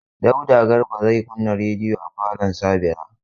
Dauda Garba zai kunna rediyo a falon Sabira.